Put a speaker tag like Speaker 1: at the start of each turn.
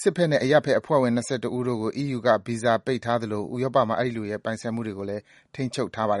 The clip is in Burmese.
Speaker 1: စစ်ဘက်နဲ့ အရပ်ဘက်အဖွဲ့ဝင် ၂၁ ယောက်ကို EU က ဗီဇာပိတ်ထားသလို ဥရောပမှာ အဲဒီလူတွေရဲ့ ပိုင်ဆိုင်မှုတွေ ရှိတယ်ဆိုရင်လည်း ထိန်း
Speaker 2: ချုပ်ထားပါတယ်